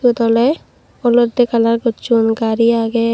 toley olotte kalar gocchon gari agey.